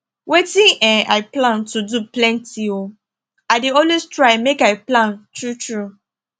wetin um i plan to do plenty um i dey always try make i plan true true